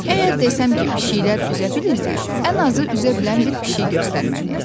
Əgər desəm ki, pişiklər üzə bilirlər, ən azı üzə bilən bir pişik göstərməliyəm.